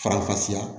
Faranfasiya